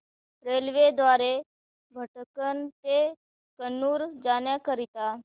railway द्वारे भटकळ ते कन्नूर जाण्या करीता